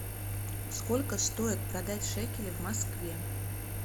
сколько стоит продать шекели в москве